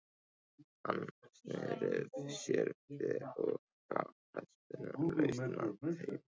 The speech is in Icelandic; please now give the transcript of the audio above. Hann sneri sér við og gaf hestinum lausan tauminn.